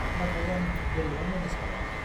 नाथाय आं बोरैबा मेनेज खालामदों।